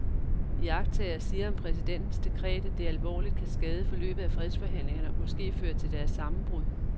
Iagttagere siger om præsidentens dekret, at det alvorligt kan skade forløbet af fredsforhandlingerne og måske føre til deres sammenbrud.